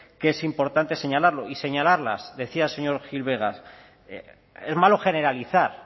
que es importante señalarlo y señalarlas decía el señor gil vegas es malo generalizar